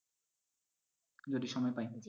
যদি সময় পায়।